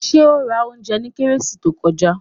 Did he buy food last christmas